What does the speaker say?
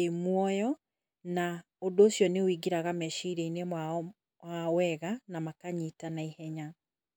ĩ muoyo ũndũ ũcio nĩ woingĩraga meciria -inĩ mao wega na makanyita na ĩhenya.